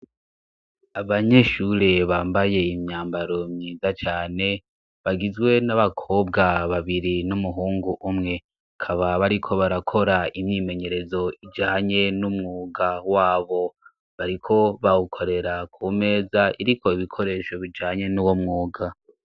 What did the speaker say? Abanyeshure bambaye imyambaro myiza cane, bagizwe n'abakobwa babiri n'umuhungu umwe, bakaba bariko barakora imyimenyerezo ijanye n'umwuga wabo. Bariko bawukorera ku meza iriko ibikoresho bijanye n'uwo mwuga.